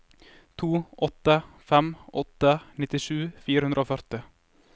to åtte fem åtte nittisju fire hundre og førti